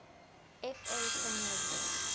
fa premier league